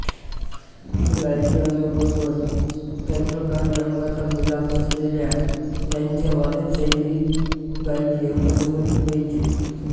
गायकी अंगाबरोबर तंत्रकारी अंगाचा मिलाफ असलेल्या त्यांच्या वादनशैलीतगायकी अंगासोबत लयीचे